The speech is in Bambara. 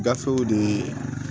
Gafew de